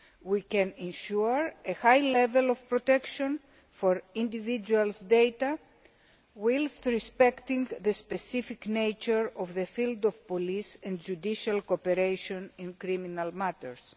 We can ensure a high level of protection for individuals' data whilst respecting the specific nature of the field of police and judicial cooperation in criminal matters.